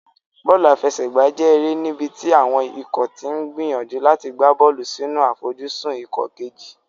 Bọ́ọ̀lù àfẹsẹ̀gbá jẹ́ eré níbi tí àwọn ikọ̀ ti ń gbìyànjú láti gbá bọ́ọ̀lù sínú àfojúsùn ikọ̀ kejì.